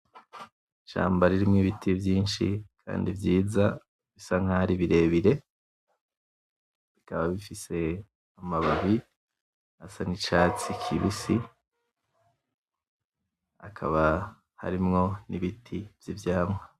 Ishamba ririmwo ibiti vyinshi kandi vyiza bisa nkaho ari birebire, bikaba bifise amababi asa nicatsi kibisi hakaba harimwo nibiti vyivyamwa